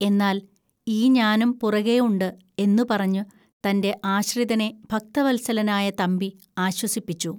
എന്നാൽ ഈ ഞാനും പുറകേ ഉണ്ട് എന്നുപറഞ്ഞ് തൻ്റെ ആശ്രിതനെ ഭക്തവത്സലനായ തമ്പി ആശ്വസിപ്പിച്ചു